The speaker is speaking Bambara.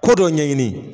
Ko dɔ ɲɛɲini